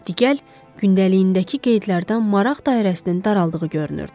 Digər gündəliyindəki qeydlərdən maraq dairəsinin daraldığı görünürdü.